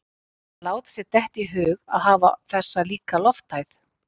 Að láta sér detta í hug að hafa þessa líka lofthæð